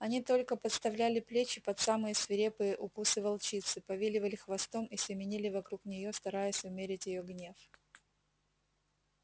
они только подставляли плечи под самые свирепые укусы волчицы повиливали хвостом и семенили вокруг неё стараясь умерить её гнев